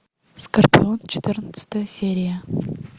скорпион четырнадцатая серия